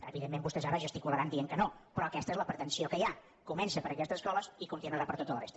evidentment vostès ara gesticularan dient que no però aquesta és la pretensió que hi ha comença per aquestes escoles i continuarà per tota la resta